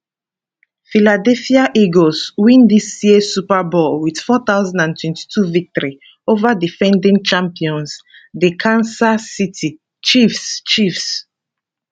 philadelphia eagles win dis year super bowl wit 4022 victory ova defending champions di kansas city chiefs chiefs